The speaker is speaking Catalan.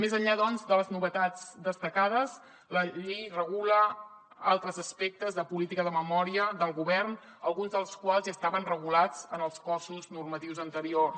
més enllà doncs de les novetats destacades la llei regula altres aspectes de política de memòria del govern alguns dels quals ja estaven regulats en els cossos normatius anteriors